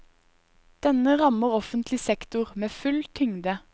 Denne rammer offentlig sektor med full tyngde.